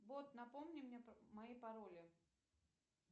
бот напомни мне мои пароли